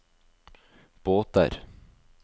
båter